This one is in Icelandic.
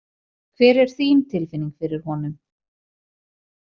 Hver er þín tilfinning fyrir honum?